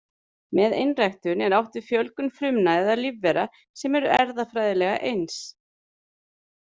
Með einræktun er átt við fjölgun frumna eða lífvera sem eru erfðafræðilega eins.